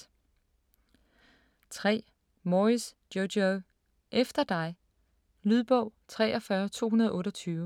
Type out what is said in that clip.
3. Moyes, Jojo: Efter dig Lydbog 43228